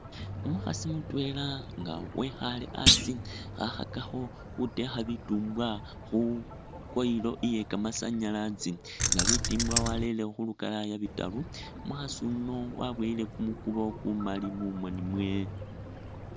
Umukhasi mutwela nga wekhaale asi khakhakakho khutekha bitumbwa khu coil iye kamasanyalazi, nga bitumbwa warere khu lukalaya bitaru, umukhasi yuno waboyile kumukubo kumali mumoni mwewe.